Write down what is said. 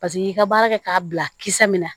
Paseke i ka baara kɛ k'a bila kisɛ min na